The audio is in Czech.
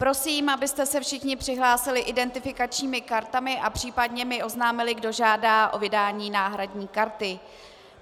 Prosím, abyste se všichni přihlásili identifikačními kartami a případně mi oznámili, kdo žádá o vydání náhradní karty.